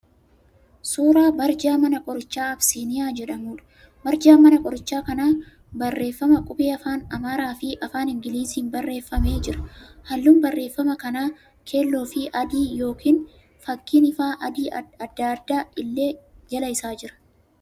Suuraa barjaa mana qorichaa Abisiiniyaa jedhamuudha. Barjaan mana qorichaa kanaa barreema qubee afaan Amaaraa fi afaan Ingiliziin barreeffamee jira. Halluun barreeffama kanaa keelloo fi adii yoo fakkiin ifaa adda addaa illee jala isaa jira.